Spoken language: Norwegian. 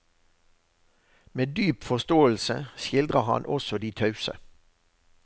Med dyp forståelse skildrer han også de tause.